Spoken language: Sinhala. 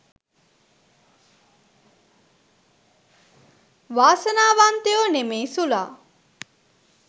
වාසනා වන්තයෝ නෙමෙයි සුලා.